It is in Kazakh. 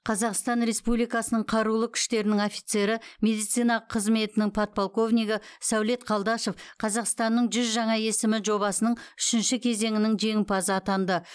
қазақстан республикасының қарулы күштерінің офицері медицина қызметінің подполквонигі сәулет қалдашов қазақстанның жүз жаңа есімі жобасының үшінші кезеңінің жеңімпазы атанды